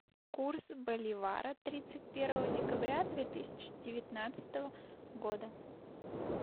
курс боливара тридцать первого декабря две тысячи девятнадцатого года